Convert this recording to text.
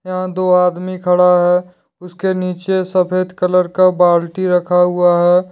यहां दो आदमी खड़ा है उसके नीचे सफेद कलर का बाल्टी रखा हुआ है।